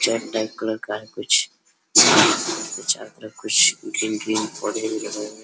चट type colour का है कुछ और छत पे कुछ बिन बिन होडिंग रहा है।